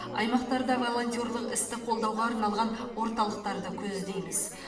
аймақтарда волонтерлық істі қолдауға арналған орталықтарды көздейміз